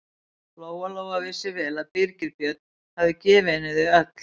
Lóa-Lóa vissi vel að Birgir Björn hafði gefið henni þau öll.